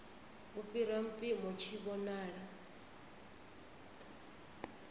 u fhira mpimo tshi vhonala